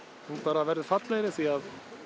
hún bara verður fallegri því að